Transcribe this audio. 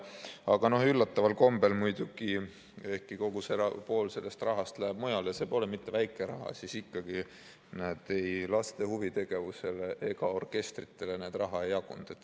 Aga üllataval kombel, ehkki pool sellest rahast läheb mujale – see pole mitte väike raha –, siis ikkagi, näed, ei laste huvitegevusele ega orkestritele raha ei jagunud.